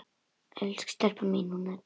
Elsku stelpan mín, hún Edda!